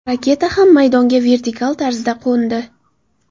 Raketa ham maydonga vertikal tarzda qo‘ndi.